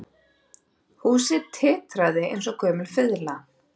Húsið titraði eins og gömul fiðla